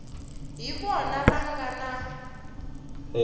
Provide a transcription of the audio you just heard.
hi vona va nga na